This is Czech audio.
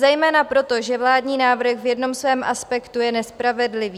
Zejména proto, že vládní návrh v jednom svém aspektu je nespravedlivý.